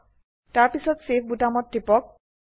তাৰপিছত চেভ বোতামত টিপক